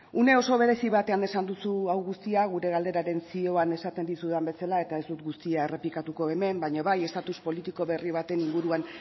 une oso berezi batean esan duzu hau guztia gure galderaren zioan esaten dizudan bezala eta ez dut guztia errepikatuko hemen baina bai estatus politiko berri baten inguruan